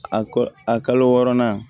A kɔ a kalo wɔɔrɔnan